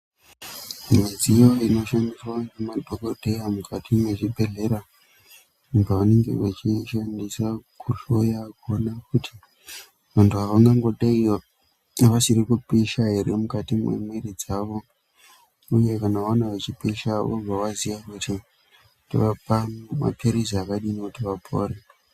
Mudziyo inoshandiswa ngemadhokodheya mukati mwezvibhedhlera apo panenge echiishandisa kuhloya kuona kuti muntu angangodei asiri kupisha ere mukati mwemwiri dzawo. Uye kana aona echipisha obva aziya kuti towapa maphilizi akadini kuti apore .